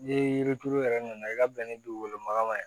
Ni yiri turu yɛrɛ nana i ka bɛnɛ dugukolo maga ma